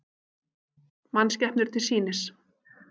Mannskepnur til sýnis